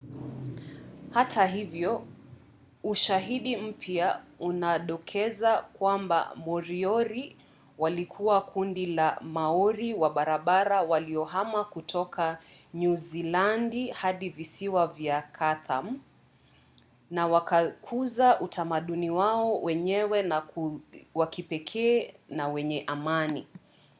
hata hivyo ushahidi mpya unadokeza kwamba moriori walikuwa kundi la maori wa bara waliohama kutoka nyuzilandi hadi visiwa vya chatham na wakakuza utamaduni wao wenyewe wa kipekee na wenye amani